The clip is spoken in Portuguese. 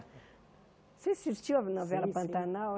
Você assistiu a novela Sim sim Pantanal?